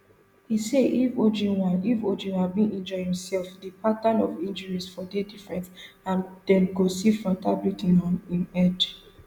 e say if ojwang if ojwang bin injure imsef di pattern of injuries for dey different and dem go see frontal bleeding on im head